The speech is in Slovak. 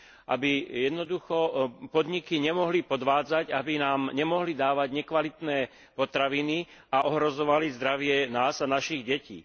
Aby jednoducho podniky nemohli podvádzať, aby nám nemohli dávať nekvalitné potraviny a ohrozovať zdravie nás a našich detí.